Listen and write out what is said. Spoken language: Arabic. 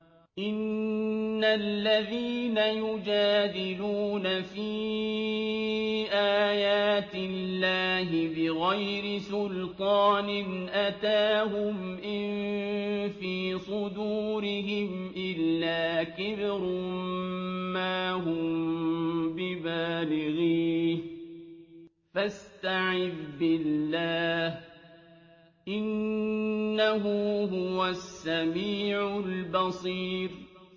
إِنَّ الَّذِينَ يُجَادِلُونَ فِي آيَاتِ اللَّهِ بِغَيْرِ سُلْطَانٍ أَتَاهُمْ ۙ إِن فِي صُدُورِهِمْ إِلَّا كِبْرٌ مَّا هُم بِبَالِغِيهِ ۚ فَاسْتَعِذْ بِاللَّهِ ۖ إِنَّهُ هُوَ السَّمِيعُ الْبَصِيرُ